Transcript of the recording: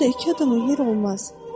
Orda iki adama yer olmaz.